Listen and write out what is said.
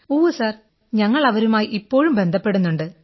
ഉവ്വ് സർ ഞങ്ങൾ അവരുമായി ഇപ്പോഴും ബന്ധപ്പെടുന്നുണ്ട്